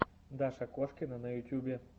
даша кошкина на ютюбе